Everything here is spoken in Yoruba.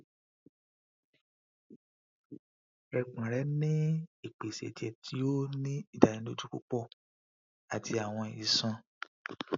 ẹpọ̀n re ni ipèsè ẹ̀jẹ̀ ti o ni ìdánilójú púpọ̀ àti àwọn iṣọn